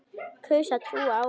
Kaus að trúa á hana.